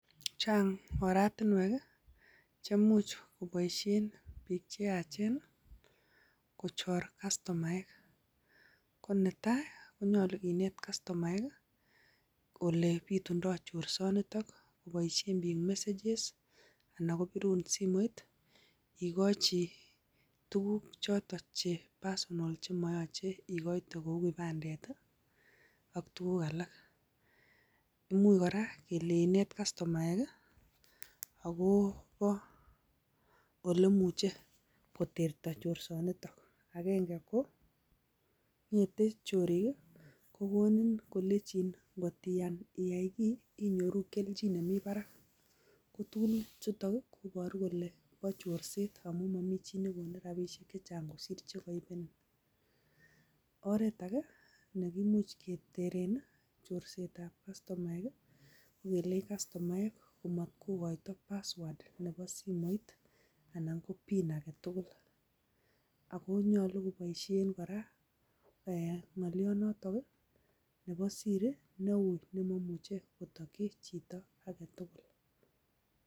Chang oratinwek cheimuch koboishien biik chayaachen kochor kastomaek. Olebitundo chorsooniton, koboishien biik messages .Birun simoit ikochii tuguuk choton che personal chemoyoche ikoitee kou kipandet ak tuguuk alak. Imuch kora kole kineet kastomaek, akobo olemuche kotertoo chorsonitok. Agenge ko ngetee chorik, koniin kole kotiyai kiy inyoorunen kelchin nemi barak. Ko tuguchutok kobo chorset, koyoche kinet kastomaek komot kokoito password anan ko pin agetugul. Akonyolu keboishien kora pin ak password en kila ak kila